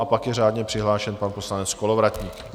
A pak je řádně přihlášen pan poslanec Kolovratník.